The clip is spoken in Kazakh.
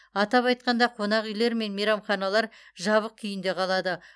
атап айтқанда қонақ үйлер мен мейрамханалар жабық күйінде қалады